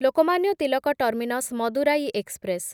Lokmanya Tilak terminus Madurai express